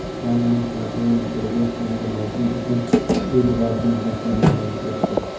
Ispaniyaning "Barselona" klubi yangi mavsum uchun uy libosini rasman namoyish etdi.